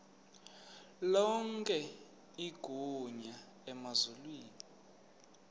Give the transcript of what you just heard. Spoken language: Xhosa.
lonke igunya emazulwini